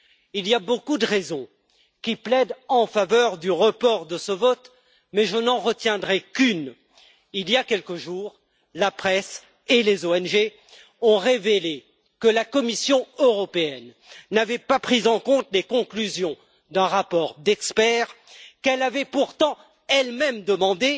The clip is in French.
Il y a beaucoup de raisons qui plaident en faveur du report de ce vote, mais je n'en retiendrai qu'une il y a quelques jours, la presse et les ONG ont révélé que la Commission européenne n'avait pas pris en compte les conclusions d'un rapport d'experts qu'elle avait pourtant elle même demandé,